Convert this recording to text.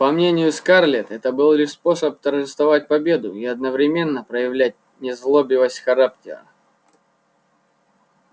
по мнению скарлетт это был лишь способ торжествовать победу и одновременно проявлять незлобивость характера